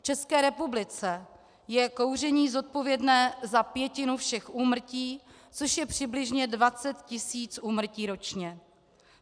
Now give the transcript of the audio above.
V České republice je kouření zodpovědné za pětinu všech úmrtí, což je přibližně 20 tisíc úmrtí ročně.